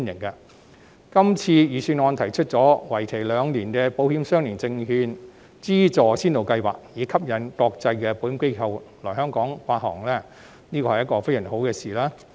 這份預算案提出為期兩年的保險相連證券資助先導計劃，以吸引國際保險機構來香港發行保險相連證券，是非常好的事。